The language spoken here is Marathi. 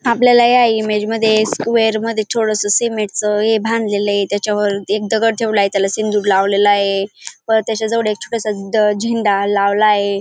आपल्याला या इमेज मध्ये स्क्वेर मध्ये थोडास सीमेंट च हे मध्ये बांधलेल य त्याच्यावर एक दगड ठेवलाय त्याला सिंदूर लावलेल ये परत त्याच्या जवळ एक छोटासा झ झेंडा लावलाय.